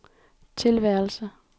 tilværelse